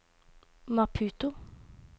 Maputo